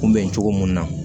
Kunbɛn cogo mun na